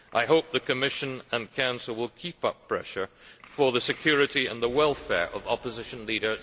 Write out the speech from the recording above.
I hope the Commission and Council will keep up pressure for the security and the welfare of opposition leader Sam Rainsy.